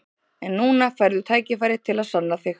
En núna færðu tækifæri til að sanna þig.